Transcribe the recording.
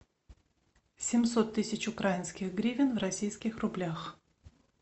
семьсот тысяч украинских гривен в российских рублях